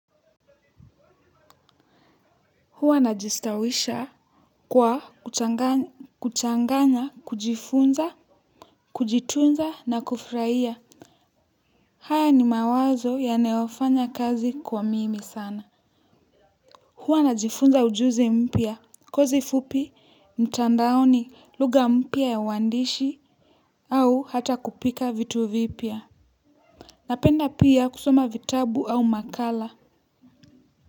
Huwa najistawisha kwa kuchanganya kujifunza, kujitunza na kufuraia haya ni mawazo yanayofanya kazi kwa mimi sana huwa najifunza ujuzi mpya kozi fupi mtandaoni lugha mpya ya uwandishi au hata kupika vitu vipya napenda pia kusoma vitabu au makala.